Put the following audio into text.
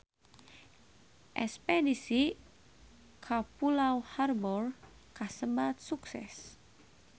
Espedisi ka Pulau Harbour kasebat sukses